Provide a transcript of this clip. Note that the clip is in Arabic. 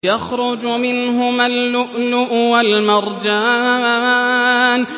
يَخْرُجُ مِنْهُمَا اللُّؤْلُؤُ وَالْمَرْجَانُ